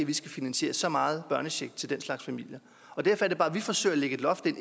vi skal finansiere så meget børnecheck til den slags familier derfor er det bare at vi forsøger at lægge et loft ind